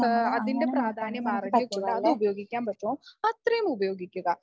ആഹ് അതിൻറെ പ്രാധാന്യം അറിഞ്ഞുകൊണ്ട് അത് ഉപയോഗിക്കാൻ പറ്റുമോ അത്രയും ഉപയോഗിക്കുക.